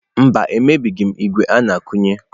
Mba, emebighị m ígwè a na-akụnye.